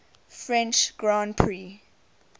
french grand prix